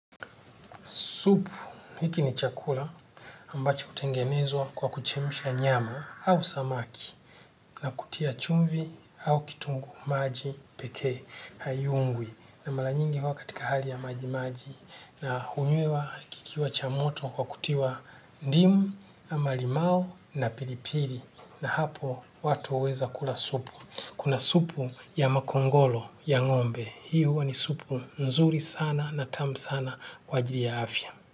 Supu hiki ni chakula ambacho hutengenezwa kwa kuchemsha nyama au samaki na kutia chumvi au kitungu maji pekee haiungwi na mara nyingi huwa katika hali ya majimaji na hunywiwa kikiwa cha moto kwa kutiwa ndimu ama limao na pilipili na hapo watu huweza kula supu. Kuna supu ya makongolo ya ngombe. Hio huwa ni supu nzuri sana na tamu sana kwa ajili ya afya.